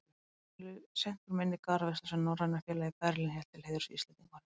Honum líður seint úr minni garðveisla, sem Norræna félagið í Berlín hélt til heiðurs Íslendingunum.